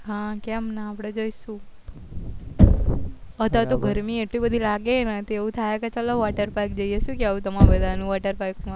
હા કેમ ના અપડે જૈસુ અત્યારે તો ગરમી એટલી બધી લાગે કે એવું થાય કે ચાલો water park જૈયે શું કેવું તમારું બધાનું water park માં